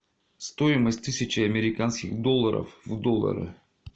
стоимость тысячи американских долларов в доллары